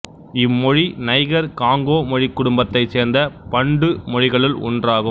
இம்மொழி Niger Congo மொழிக்குடும்பத்தை சேர்ந்த Bantu மொழிகளுள் ஒன்றாகும்